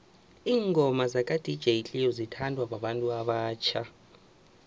ingoma zaka dj cleo zithanwa babantu abatjha